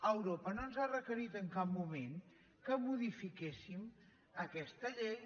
europa no ens ha requerit en cap moment que modifiquéssim aquesta llei